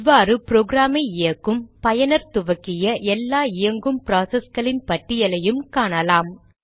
இவ்வாறு ப்ரோக்ராமை இயக்கும் பயனர் துவக்கிய எல்லா இயங்கும் ப்ராசஸ்களின் பட்டியலையும் காணலாம்